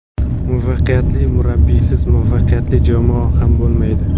Muvaffaqiyatli murabbiysiz, muvaffaqiyatli jamoa ham bo‘lmaydi.